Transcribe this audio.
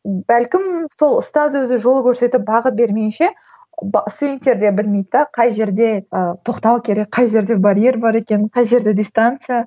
бәлкім сол ұстаз өзі жол көрсетіп бағыт бермейінше студентер де білмейді де қай жерде ыыы тоқтау керек қай жерде барьер бар екенін қай жерде дистанция